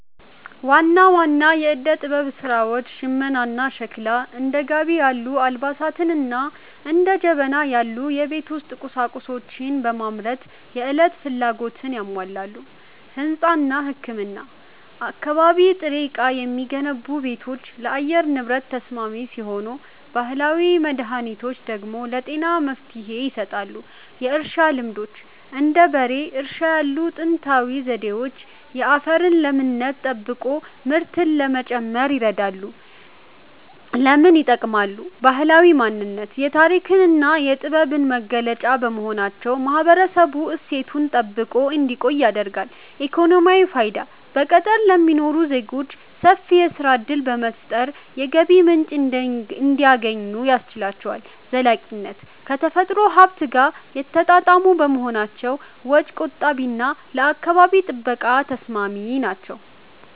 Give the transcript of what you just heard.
ዋና ዋና የዕደ-ጥበብ ሥራዎች ሽመናና ሸክላ፦ እንደ ጋቢ ያሉ አልባሳትንና እንደ ጀበና ያሉ የቤት ውስጥ ቁሳቁሶችን በማምረት የዕለት ፍላጎትን ያሟላሉ። ሕንጻና ሕክምና፦ ከአካባቢ ጥሬ ዕቃ የሚገነቡ ቤቶች ለአየር ንብረት ተስማሚ ሲሆኑ፣ ባህላዊ መድኃኒቶች ደግሞ ለጤና መፍትሔ ይሰጣሉ። የእርሻ ልማዶች፦ እንደ በሬ እርሻ ያሉ ጥንታዊ ዘዴዎች የአፈርን ለምነት ጠብቆ ምርትን ለመጨመር ይረዳሉ። ለምን ይጠቅማሉ? ባህላዊ ማንነት፦ የታሪክና የጥበብ መገለጫ በመሆናቸው ማህበረሰቡ እሴቱን ጠብቆ እንዲቆይ ያደርጋሉ። ኢኮኖሚያዊ ፋይዳ፦ በገጠር ለሚኖሩ ዜጎች ሰፊ የሥራ ዕድል በመፍጠር የገቢ ምንጭ እንዲያገኙ ያስችላቸዋል። ዘላቂነት፦ ከተፈጥሮ ሀብት ጋር የተጣጣሙ በመሆናቸው ወጪ ቆጣቢና ለአካባቢ ጥበቃ ተስማሚ ናቸው።